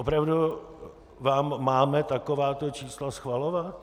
Opravdu vám máme takováto čísla schvalovat?